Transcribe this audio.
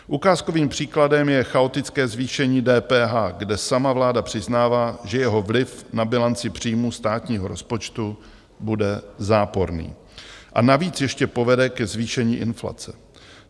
Ukázkovým příkladem je chaotické zvýšení DPH, kde sama vláda přiznává, že jeho vliv na bilanci příjmů státního rozpočtu bude záporný, a navíc ještě povede ke zvýšení inflace.